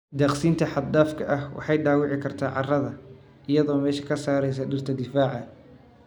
Daaqsinta xad dhaafka ah waxay dhaawici kartaa carrada iyadoo meesha ka saaraysa dhirta difaaca.